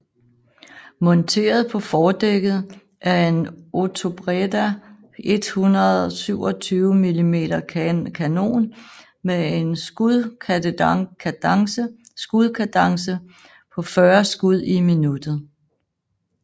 Monteret på fordækket er en Otobreda 127 mm kanon men en skudkadence på 40 skud i minuttet